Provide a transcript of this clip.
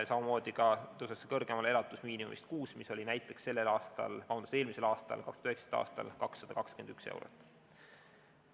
Samamoodi tõuseks see kõrgemale elatusmiinimumist, mis oli eelmisel aastal, 2019. aastal, 221 eurot kuus.